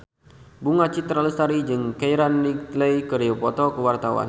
Bunga Citra Lestari jeung Keira Knightley keur dipoto ku wartawan